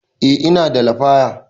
Eh ina da lafaya